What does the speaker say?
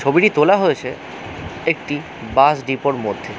ছবিটি তোলা হয়েছে একটি বাস ডিপোর মধ্যে।